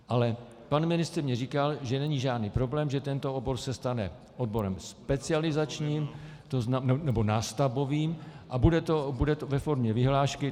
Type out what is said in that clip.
Ale pan ministr mně říkal, že není žádný problém, že tento obor se stane oborem specializačním nebo nástavbovým a bude to ve formě vyhlášky.